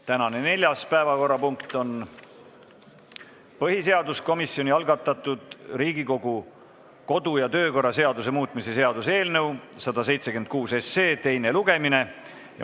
Tänane neljas päevakorrapunkt on põhiseaduskomisjoni algatatud Riigikogu kodu- ja töökorra seaduse muutmise seaduse eelnõu 176 teine lugemine.